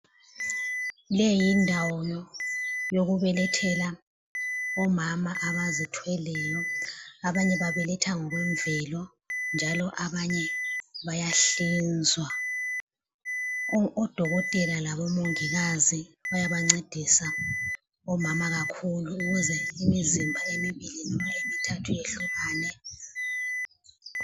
Leyi yindawo yokubelethela omama abazithweleyo abanye babeletha ngokwemvelo njalo abanye bayahlizwa. Odokotela labomongikazi bayabancedisana omama kakhulu ukuze imizimba emibili noma emithathu iyehlukane.